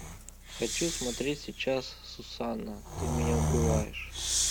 хочу смотреть сейчас сусана ты меня убиваешь